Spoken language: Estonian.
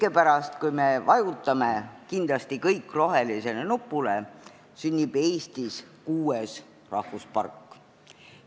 Hetke pärast, kui me vajutame kindlasti kõik rohelisele nupule, sünnib Eestis kuues rahvuspark.